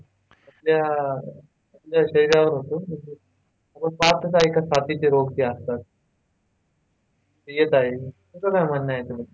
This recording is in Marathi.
आपल्या आपल्या शरीरावर होतो आपण पाहतच आहे का साथीचे रोग कसे असतात? ते येत आहेत तुमचं काय म्हणणं याच्याबद्दल?